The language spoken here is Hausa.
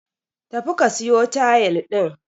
Tafi ka siyo tayil din